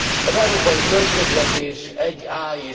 Az európai költségvetés 1a.